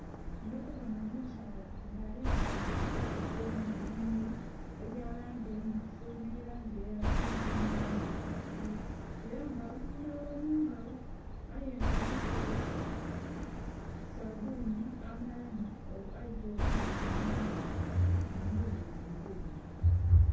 Ndhikubona omukyala nga ayambaire ebbulaghuzi erimu ebimuli ebya langi emyufu nhi langi eya kyenvu nhi langi eya bbululu era nga ali kunhaba mungalo era nga alikozesa sabbuni eita obughuka mungalo gha milundi nga ebiri.